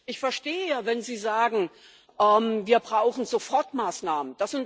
Ich verstehe, ja wenn Sie sagen Wir brauchen Sofortmaßnahmen.